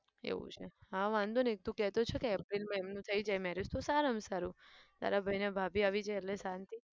એવું છે હા વાંધો નહિ તું કહે તો છે કે april માં એમનું થઇ જાય marriage તો સારામાં સારું. તારા ભાઈ ને ભાભી આવી જાય એટલે શાંતિ.